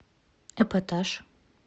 эпатаж